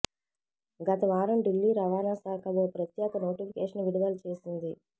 గత వారం ఢిల్లీ రవాణా శాఖ ఓ ప్రత్యేక నోటిఫికేషన్ విడుదల చేసింది